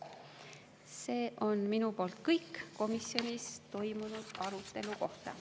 See on minu poolt kõik komisjonis toimunud arutelu kohta.